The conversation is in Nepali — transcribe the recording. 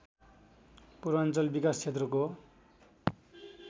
पूर्वाञ्चल विकास क्षेत्रको